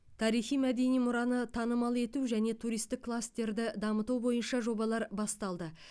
тарихи мәдени мұраны танымал ету және туристік кластерді дамыту бойынша жобалар басталды